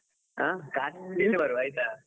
ಹಾ, ಖಂಡಿತ ಬರುವ ಆಯ್ತಾ.